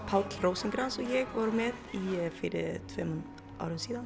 Páll Rósinkranz vorum með fyrir tveimur árum síðan